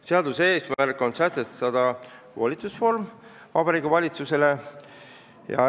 Seaduse eesmärk on sätestada volitusnorm Vabariigi Valitsusele.